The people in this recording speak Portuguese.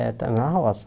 É, está na roça.